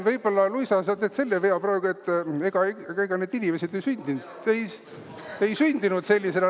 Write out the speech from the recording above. Võib-olla, Luisa, sa teed selle vea praegu, et ega need inimesed ei sündinud sellisena.